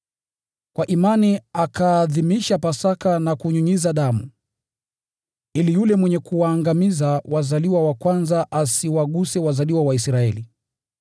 Kwa imani akaadhimisha Pasaka na kunyunyiza damu, ili yule mwenye kuwaangamiza wazaliwa wa kwanza asiwaguse wazaliwa wa Israeli.